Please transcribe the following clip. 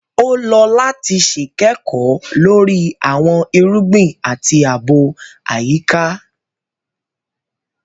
O lọ lati ṣe kẹko lori awọn irugbin ati aabo ayika